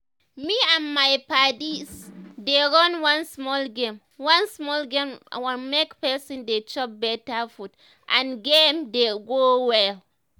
me and my padis dey run one small game one small game on make person dey chop better food and d game dey go well